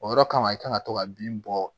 O yɔrɔ kama i kan ka to ka bin bɔ